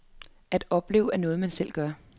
At opleve er noget man selv gør.